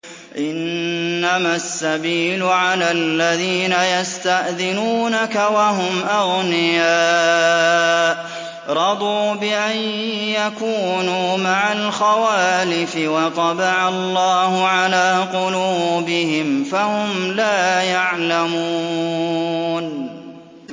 ۞ إِنَّمَا السَّبِيلُ عَلَى الَّذِينَ يَسْتَأْذِنُونَكَ وَهُمْ أَغْنِيَاءُ ۚ رَضُوا بِأَن يَكُونُوا مَعَ الْخَوَالِفِ وَطَبَعَ اللَّهُ عَلَىٰ قُلُوبِهِمْ فَهُمْ لَا يَعْلَمُونَ